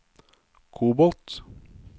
kobolt